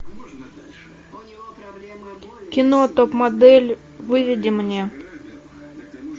кино топ модель выведи мне